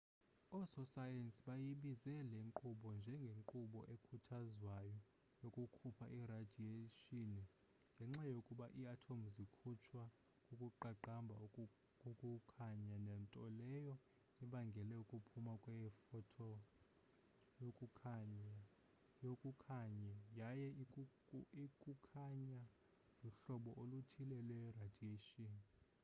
oososayensi bayibiza le nkqubo njengenkqubo ekhuthazwayo yokukhupha iradiyeyshini ngenxa yokuba ii-atomu zikhutshwa kukuqaqamba kokukhanya nto leyo ebangela ukuphuma kwe-photon yokukhanye yaye ukukhanya luhlobo oluthile lweradiyeyshini